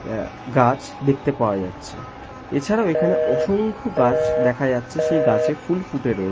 আ গাছ দেখতে পাওয়া যাচ্ছে। এছাড়াও এখানে অসংখ দেখা যাচ্ছে সেই গাছে ফুল ফুটে রয়ে--